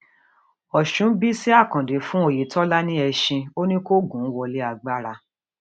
ọṣùn bísí àkàndé fún ọyẹtọlá ni ẹṣin ò ní kó gún un wọlé agbára